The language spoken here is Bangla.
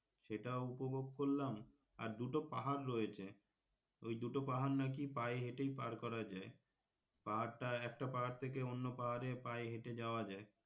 সেটাও উপভোগ করলাম আর দুটো পাহাড় রয়েছে ওই দুটো পাহাড় নাকি পায়ে হেঁটেই পার করা যায় পাহাড় টা একটা পাহাড় থেকে অন্য পাহাড়ে পায়ে হেঁটে যাওয়া যায়.